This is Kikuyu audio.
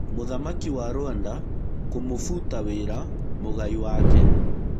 Mũthamaki wa Rwanda kũmũbuta wĩra mũgai wake.